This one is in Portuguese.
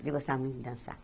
Eu gostava muito de dançar.